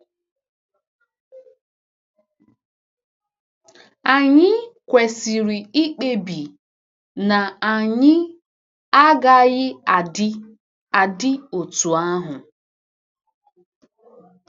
Anyị kwesịrị ikpebi na anyị agaghị adị adị otú ahụ!